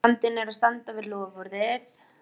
Vandinn er að standa við loforðið!